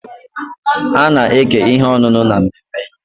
A na-eke ihe ọṅụṅụ na mmemme.